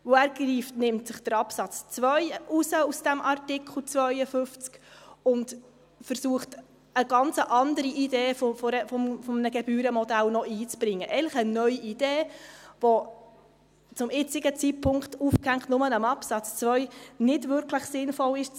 Denn er greift sich Absatz 2 aus diesem Artikel 52 heraus und versucht eigentlich, noch eine ganz andere Idee des Gebührenmodells einzubringen, eigentlich eine neue Idee, die zu diskutieren zum jetzigen Zeitpunkt, nur an Absatz 2 aufgehängt, nicht wirklich sinnvoll ist.